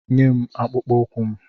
Nyem akpụkpọ ụkwụ m!